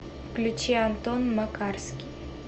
включи антон макарский